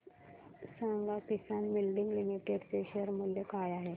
सांगा Kisan moulding limited चे share मूल्य काय आहे